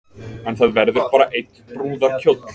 En það verður bara einn brúðarkjóll